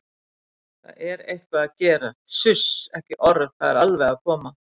það er eitthvað að gerast, suss, ekki orð, það er alveg að koma!